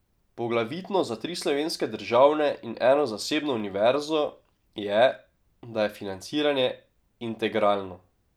Poglavitno za tri slovenske državne in eno zasebno univerzo je, da je financiranje integralno.